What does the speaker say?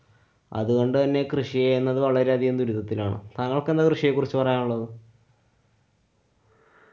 അതുകൊണ്ടുതന്നെ കൃഷിയെന്നത് വളരെയധികം ദുരിതത്തിലാണ്. താങ്കള്‍ക്കെന്താ കൃഷിയെ കുറിച്ച് പറയാനുള്ളത്?